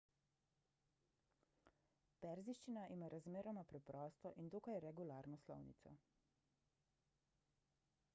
perzijščina ima razmeroma preprosto in dokaj regularno slovnico